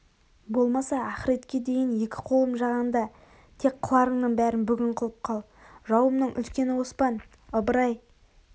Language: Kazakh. болмаса ахиретке дейін екі қолым жағаңда тек қыларыңның бәрін бүгін қылып қал жауымның үлкені оспан ыбырай